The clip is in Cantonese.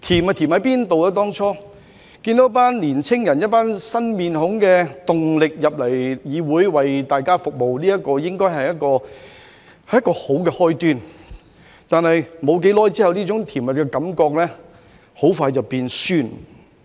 看到一夥年青人帶着新面孔、新動力進入議會為大家服務，這應該是一個好的開端。但是，在沒多久之後，這種甜蜜的感覺很快就變酸了。